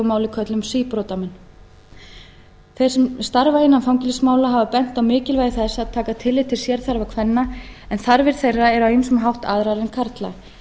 máli köllum síbrotamenn þeir sem starfa innan fangelsismála hafa bent á mikilvægi þess að taka tillit til sérþarfa kvenna en þarfir þeirra eru á ýmsan hátt aðrar en karla